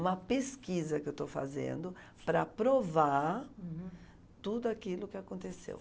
Uma pesquisa que eu estou fazendo para provar... Uhum. ...tudo aquilo que aconteceu.